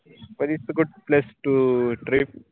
butistogoodplacetotrip